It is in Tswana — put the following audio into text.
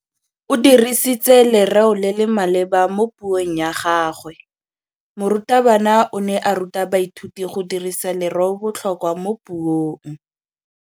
O dirisitse lerêo le le maleba mo puông ya gagwe. Morutabana o ne a ruta baithuti go dirisa lêrêôbotlhôkwa mo puong.